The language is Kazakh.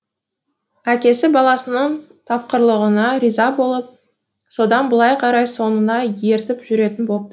әкесі баласының тапқырлығына риза болып содан былай қарай соңына ертіп жүретін бопты